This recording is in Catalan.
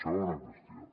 segona qüestió